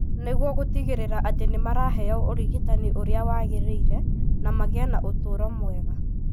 nĩguo gũtigĩrĩra atĩ nĩ maraheo ũrigitani ũrĩa wagĩrĩire na magĩe na ũtũũro mwega.